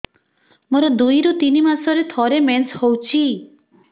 ମୋର ଦୁଇରୁ ତିନି ମାସରେ ଥରେ ମେନ୍ସ ହଉଚି